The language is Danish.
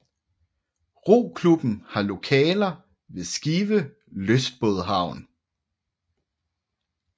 Roklubben har lokaler ved Skive lystbådhavn